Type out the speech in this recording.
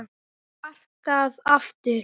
Sparkað aftur.